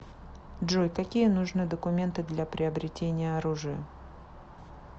джой какие нужны документы для приобретения оружия